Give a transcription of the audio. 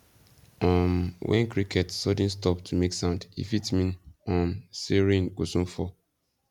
um when crickets sudden stop to make sound e fit mean um say rain go soon fall